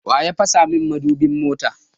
Wa ya fasa mun mudubin mota?